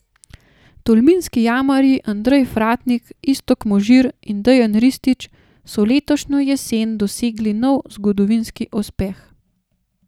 Tolminski jamarji Andrej Fratnik, Iztok Možir in Dejan Ristić so letošnjo jesen dosegli nov zgodovinski uspeh.